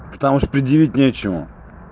потому что предъявить нечего